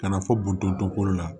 Ka na fɔ bundo ko la